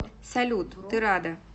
салют ты рада